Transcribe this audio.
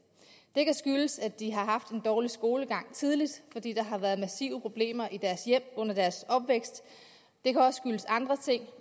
det kan skyldes at de har haft en dårlig skolegang tidligt fordi der har været massive problemer i deres hjem under deres opvækst det kan også skyldes andre ting